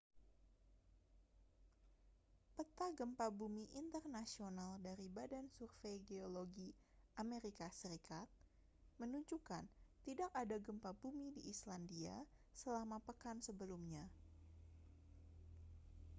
peta gempa bumi internasional dari badan survei geologi amerika serikat menunjukkan tidak ada gempa bumi di islandia selama pekan sebelumnya